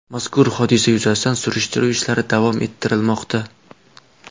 Mazkur hodisa yuzasidan surishtiruv ishlari davom ettirilmoqda.